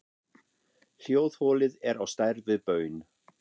Hljóðholið er á stærð við baun.